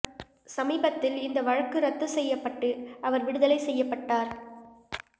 சமீபத்தில் இந்த வழக்கு ரத்து செய்யப்பட்டு அவர் விடுதலை செய்யப்பட்டார்